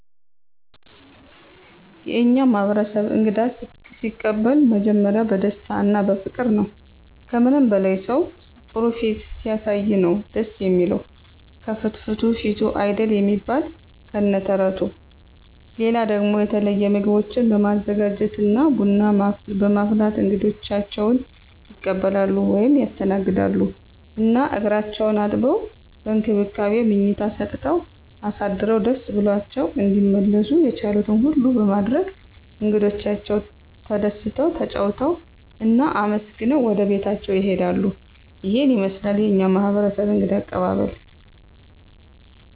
የእኛ ማህበረሰብ እንግዳ ሲቀበሉ መጀመሪያ በደስታ እና በፍቅር ነዉ። ከምንም በላይ ሰዉ ጥሩ ፊት ሲያሳይ ነዉ ደስ እሚለዉ፤ ከፍትፍቱ ፊቱ አይደል እሚባል ከነ ተረቱ። ሌላ ደሞ የተለየ ምግቦችን በማዘጋጀት እና ቡና በማፍላት እንግዶቻቸዉን ይቀበላሉ (ያስተናግዳሉ) ። እና እግራቸዉን አጥበዉ፣ በእንክብካቤ መኝታ ሰጠዉ አሳድረዉ ደስ ብሏቸዉ እንዲመለሱ የቻሉትን ሁሉ በማድረግ እንግዶቻቸዉ ተደስተዉ፣ ተጫዉተዉ እና አመስግነዉ ወደቤታቸዉ ይሄዳሉ። ይሄን ይመስላል የኛ ማህበረሰብ እንግዳ አቀባበል።